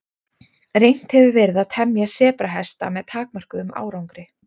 Reynt hefur verið að temja sebrahesta með takmörkuðum árangri.